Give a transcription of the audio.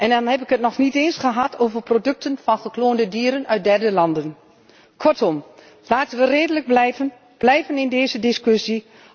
En dan heb ik het nog niet eens gehad over producten van gekloonde dieren uit derde landen. Kortom, laten we redelijk blijven in deze discussie.